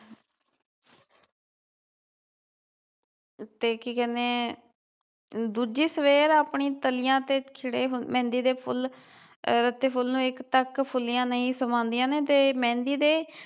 ਤੇ ਕੀ ਕਹਿਣੇ ਏ ਦੂਜੀ ਸਵੇਰ ਆਪਣੀ ਤਲੀਆਂ ਤੇ ਚੜੇ ਮਹਿੰਦੀ ਦੇ ਫੁੱਲ ਫੁੱਲ ਨੂੰ ਇਕ ਤਕ ਫੁਲਿਆਂ ਨਹੀਂ ਸਮਾਉਂਦੀਆਂ ਨੇ ਤੇ ਮਹਿੰਦੀ ਦੇ